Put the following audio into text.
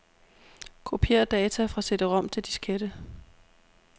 Kopier data fra cd-rom til diskette.